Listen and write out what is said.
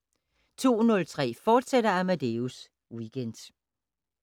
02:03: Amadeus Weekend, fortsat